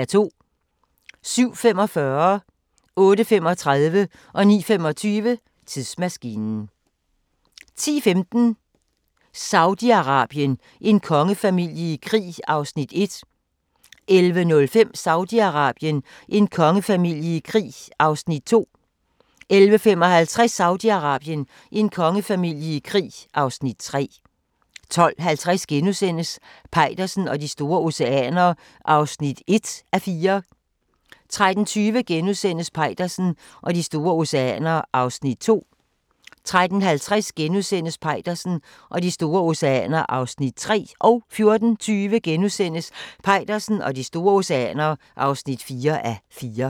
07:45: Tidsmaskinen 08:35: Tidsmaskinen 09:25: Tidsmaskinen 10:15: Saudi-Arabien: En kongefamilie i krig (Afs. 1) 11:05: Saudi-Arabien: En kongefamilie i krig (Afs. 2) 11:55: Saudi-Arabien: En kongefamilie i krig (Afs. 3) 12:50: Peitersen og de store oceaner (1:4)* 13:20: Peitersen og de store oceaner (2:4)* 13:50: Peitersen og de store oceaner (3:4)* 14:20: Peitersen og de store oceaner (4:4)*